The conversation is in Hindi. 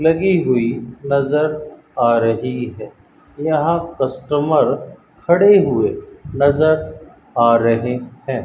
लगी हुई नजर आ रही है यहां कस्टमर खड़े हुए नजर आ रहे हैं।